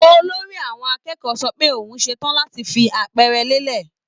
Olórí àwọn akẹ́kọ̀ọ́ sọ pé òun ṣe tàn láti fi àpẹẹrẹ lélẹ̀